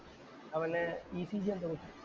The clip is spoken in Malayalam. അവനെ ECG എന്തോ